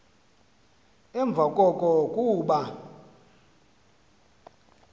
emva koko kuba